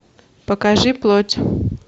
покажи плоть